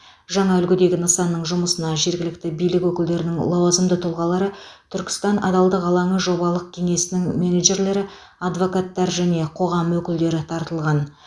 жаңа үлгідегі нысанның жұмысына жергілікті билік өкілдерінің лауазымды тұлғалары түркістан адалдық алаңы жобалық кеңсесінің менеджерлері адвокаттар және қоғам өкілдері тартылған